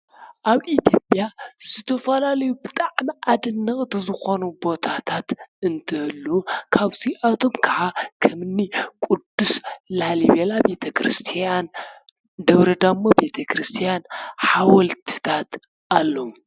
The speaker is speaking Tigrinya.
ኣብ ኢትዮጵያ ዝተፋላለዩ ብጣዕሚ ኣደነቕቲ ዝኮኑ ቦታታት አንትህልዉ ካብዚኣቶም ከዓ ከምኒ ቁዱስ ላሊበላ ቤተ ክርስትያን ደብረ ዳሞ ቤተ ክርስትያን ሓወልትታት ኣለዉ።